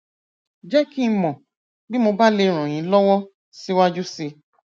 jẹ kí n mọ bí mo bá lè ràn yín lọwọ síwájú sí i